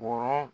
Wɔɔrɔn